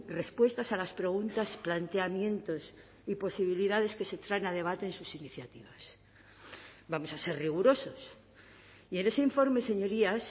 respuestas a las preguntas planteamientos y posibilidades que se traen a debate de sus iniciativas vamos a ser rigurosos y en ese informe señorías